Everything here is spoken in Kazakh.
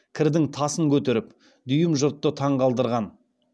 кірдің тасын көтеріп дүйім жұртты таңғалдырған